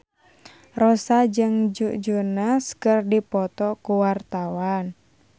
Rossa jeung Joe Jonas keur dipoto ku wartawan